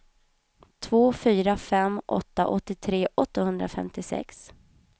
två fyra fem åtta åttiotre åttahundrafemtiosex